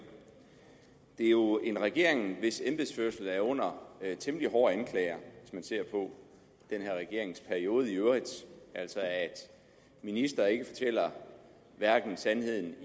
det er jo en regering hvis embedsførelse er under temmelig hårde anklager hvis man ser på den her regeringsperiode i øvrigt altså at en minister ikke fortæller sandheden